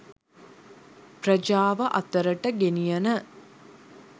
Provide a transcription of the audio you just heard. ප්‍රජාව අතරට ගෙනියන